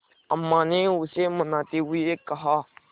अम्मा ने उसे मनाते हुए कहा